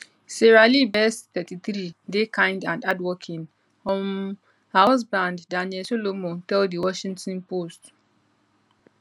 sarah lee best 33 dey kind and hardworking um her husband daniel solomon tell di washington post